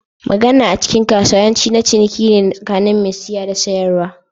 Magana a cikin kasuwa yawanci, na ciniki ne tsakanin mai siya da mai sayarwa.